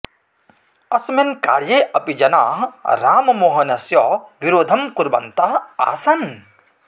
अस्मिन् कार्ये अपि जनाः राममोहनस्य विरोधं कुर्वन्तः आसन्